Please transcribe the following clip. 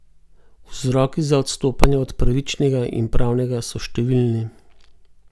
Vzroki za odstopanja od pravičnega in pravnega so številni.